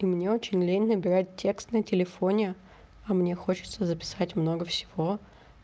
и мне очень лень набирать текст на телефоне а мне хочется записать много всего